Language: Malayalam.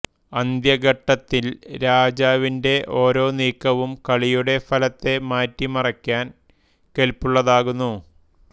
അന്ത്യഘട്ടത്തിൽ രാജാവിന്റെ ഓരോ നീക്കവും കളിയുടെ ഫലത്തെ മാറ്റിമാറിക്കാൻ കെല്പുള്ളതാകുന്നു